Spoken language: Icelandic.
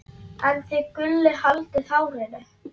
en þið Gulli haldið hárinu.